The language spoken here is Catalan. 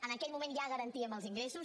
en aquell moment ja garantíem els ingressos